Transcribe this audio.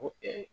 Ko